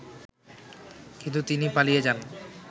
কিন্তু তিনি পালিয়ে যান